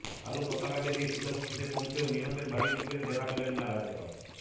কালো পতাকা দেখে শীতলকুচিতে পৌঁছেও নিহতের বাড়ির লোকের দেখা পেলেন না রাজ্যপাল